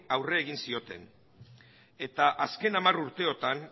aurre egin zioten eta azken hamar urteotan